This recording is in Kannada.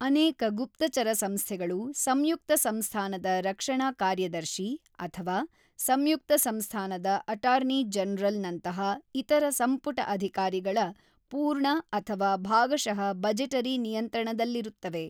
ಅನೇಕ ಗುಪ್ತಚರ ಸಂಸ್ಥೆಗಳು ಸಂಯುಕ್ತ ಸಂಸ್ಥಾನದ ರಕ್ಷಣಾ ಕಾರ್ಯದರ್ಶಿ ಅಥವಾ ಸಂಯುಕ್ತ ಸಂಸ್ಥಾನದ ಅಟಾರ್ನಿ ಜನರಲ್ ನಂತಹ ಇತರ ಸಂಪುಟ ಅಧಿಕಾರಿಗಳ ಪೂರ್ಣ ಅಥವಾ ಭಾಗಷಃ ಬಜೆಟರಿ ನಿಯಂತ್ರಣದಲ್ಲಿರುತ್ತವೆ.